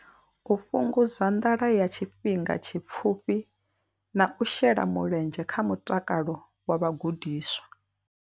U fhungudza nḓala ya tshifhinga tshipfufhi na u shela mulenzhe kha mutakalo wa vhagudiswa.